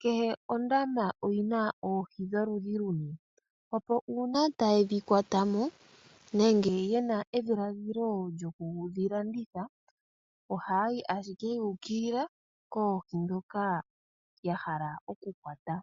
kehe ondama oyina oohi dholudhi luni. Nuuna ta ye dhi kwatamo, nenge ye na edhiladhilo lyokudhi landitha oha ya yi ashike yu ukilila, koohi ndhoka ya hala okukwata.